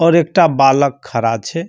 और एकटा बालक खड़ा छे।